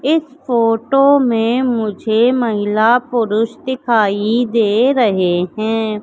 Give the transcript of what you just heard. इस फोटो में मुझे महिला-पुरुष दिखाई दे रहे हैं।